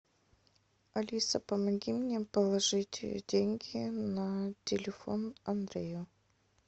алиса помоги мне положить деньги на телефон андрею